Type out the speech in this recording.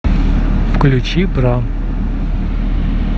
включи бра